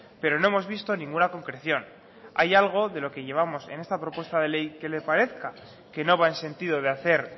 pero no hemos visto ninguna concreción hay algo de lo que llevamos en esta propuesta de ley que le parezca que no va en sentido de hacer